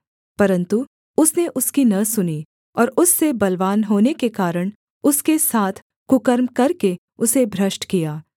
परन्तु उसने उसकी न सुनी और उससे बलवान होने के कारण उसके साथ कुकर्म करके उसे भ्रष्ट किया